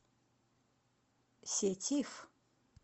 сетиф